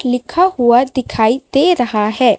लिखा हुआ दिखाई दे रहा है।